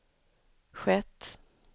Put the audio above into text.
skett